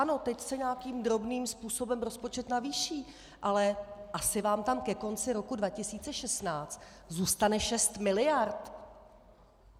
Ano, teď se nějakým drobným způsobem rozpočet navýší, ale asi vám tam ke konci roku 2016 zůstane šest miliard.